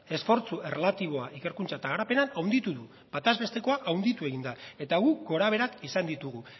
esfortzu erlatiboa ikerkuntza eta garapenean handitu du batezbestekoa handitu egin da eta guk gora beherak izan ditugu